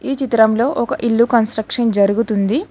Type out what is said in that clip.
ఈ చిత్రంలో ఒక ఇల్లు కన్స్ట్రక్షన్ జరుగుతుంది.